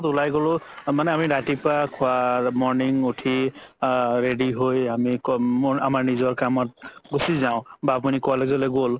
উলাই গ'লো মানে আমি ৰাতিপুৱা খুৱা morning উথি আ ready হয় আমাৰ নিজৰ কামত গুচি যাও বা আপুনি college লৈ গ'ল